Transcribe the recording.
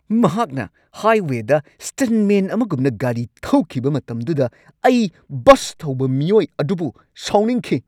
ꯃꯍꯥꯛꯅ ꯍꯥꯏꯋꯦꯗ ꯁ꯭ꯇꯟꯠꯃꯦꯟ ꯑꯃꯒꯨꯝꯅ ꯒꯥꯔꯤ ꯊꯧꯈꯤꯕ ꯃꯇꯝꯗꯨꯗ ꯑꯩ ꯕꯁ ꯊꯧꯕ ꯃꯤꯑꯣꯏ ꯑꯗꯨꯕꯨ ꯁꯥꯎꯅꯤꯡꯈꯤ꯫